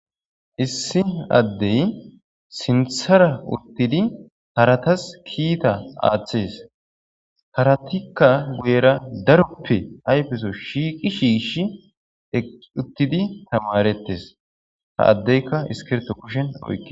Issi addey sinthara urtidi haratas kiita aaththees haratikka guyera daroppe hayfeso shiiqi shiishi uttidi tamarettes ta addeyka iskirto kushen oykke.